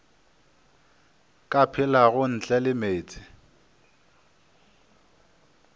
ka phelago ntle le meetse